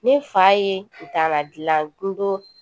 Ne fa ye kutala dilando